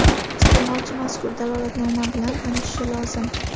Isteʼmolchi mazkur dalolatnoma bilan tanishishi lozim.